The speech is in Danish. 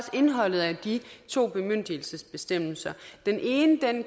indholdet af de to bemyndigelsesbestemmelser den ene